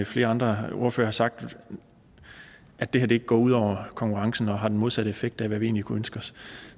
flere andre ordførere har sagt at det her ikke går ud over konkurrencen og har den modsatte effekt af hvad vi egentlig kunne ønske os